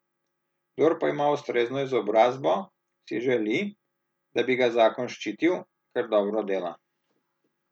Kdor pa ima ustrezno izobrazbo, si želi, da bi ga zakon ščitil, ker dobro dela.